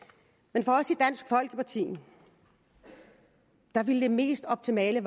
men for os i dansk folkeparti ville det mest optimale